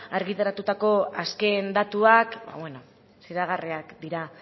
argitaratutako azken datuak ba bueno xedagarriak dira